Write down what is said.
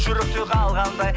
жүректе қалғандай